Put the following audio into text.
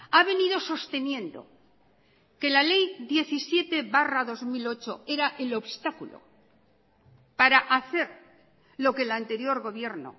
ha venido sosteniendo que la ley diecisiete barra dos mil ocho era el obstáculo para hacer lo que el anterior gobierno